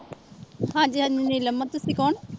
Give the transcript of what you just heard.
ਹਾਂਜੀ ਹਾਂਜੀ ਨੀਲਮ ਆ, ਤੁਸੀਂ ਕੌਣ?